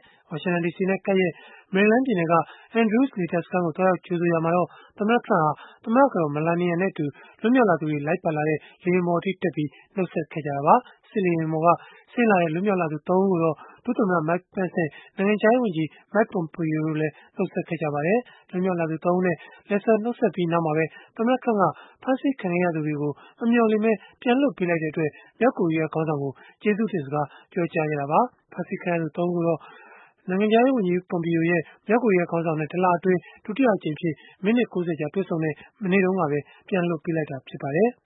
။ ဝါရှင်တန်ဒီစီနဲ့ ကပ်လျက် မေရီလန်းပြည်နယ်က Andrews လေတပ်စခန်းကို သွားရောက် ကြိုဆိုရာမှာတော့ သမ္မတ Trump ဟာ သမ္မတကတော် Melania နဲ့အတူ လွတ်မြောက်လာသူတွေ လိုက်ပါလာတဲ့ လေယာဉ်ပေါ်တက်ပြီး နှုတ်ဆက်ခဲ့ကြတာပါ။ စစ်လေယာဉ်ပေါ်က ဆင်းလာတဲ့ လွတ်မြောက်လာသူ ၃ ဦးကိုတော့ ဒုသမ္မတ Mike Pence နဲ့ နိုင်ငံခြားရေးဝန်ကြီး Mike Pompeo တို့ကလည်း နှုတ်ဆက်ခဲ့ကြပါတယ်။ လွတ်မြောက်လာသူ ၃ ဦးနဲ့ လက်ဆွဲနှုတ်ဆက်ပြီး နောက်မှာပဲ သမ္မတ Trump က ဖမ်းဆီးခံခဲ့ရသူတွေကို မမျှော်လင့်ပဲ ပြန်လွှတ်ပေးလိုက်တဲ့အတွက် မြောက်ကိုရီးယားခေါင်းဆောင်ကို ကျေးဇူးတင်စကား ပြောကြားခဲ့တာပါ။ ဖမ်းဆီးခံခဲ့ရသူ ၃ ဦးကိုတော့ နိုင်ငံခြားရေးဝန်ကြီး Pompeo ရဲ့ မြောက်ကိုရီးယားခေါင်းဆောင်နဲ့ တလအတွင်း ဒုတိယအကြိမ်အဖြစ် မိနစ် ၉၀ ကြာ တွေ့ဆုံခဲ့တဲ့ မနေ့တုန်းကပဲ ပြန်လွှတ်ပေးလိုက်တာ ဖြစ်ပါတယ်။